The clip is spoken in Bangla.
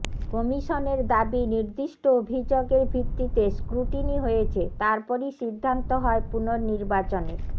কমিশনের দাবি নির্দিষ্ট অভিযোগের ভিত্তিতে স্ক্রুটিনি হয়েছে তারপরই সিদ্ধান্ত হয় পুননির্বাচনের